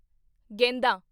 ਗੇਂਦਾ